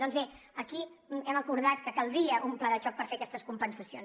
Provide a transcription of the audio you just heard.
doncs bé aquí hem acordat que caldria un pla de xoc per fer aquestes compensacions